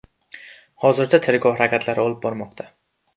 Hozirda tergov harakatlari olib bormoqda.